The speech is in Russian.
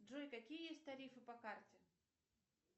джой какие есть тарифы по карте